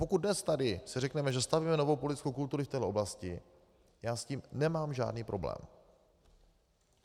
Pokud dnes tady si řekneme, že stavíme novou politickou kulturu v té oblasti, já s tím nemám žádný problém.